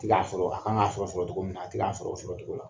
ti ka sɔrɔ a kan k'a sɔrɔ sɔrɔcogo min na a ti k'a sɔrɔ o sɔrɔcogo la.